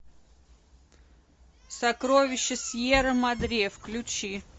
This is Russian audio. сокровища сьерра мадре включи